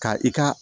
Ka i ka